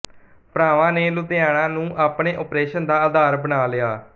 ਭਰਾਵਾਂ ਨੇ ਲੁਧਿਆਣਾ ਨੂੰ ਆਪਣੇ ਓਪਰੇਸ਼ਨ ਦਾ ਅਧਾਰ ਬਣਾ ਲਿਆ